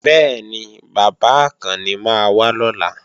Bẹ́ẹ̀ni, bàbá Àkànni máa wá lọ́la